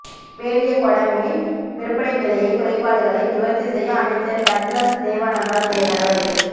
பேலியகொட மீன் விற்பனை நிலைய குறைபாடுகளை நிவர்த்தி செய்ய அமைச்சர் டக்ளஸ் தேவானந்தா நடவடிக்கை